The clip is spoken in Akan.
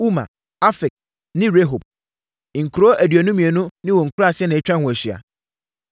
Uma, Afek ne Rehob. Nkuro aduonu mmienu ne wɔn nkuraaseɛ na atwa ho ahyia.